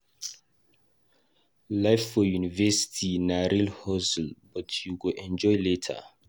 Life for university na real hustle but you go enjoy later.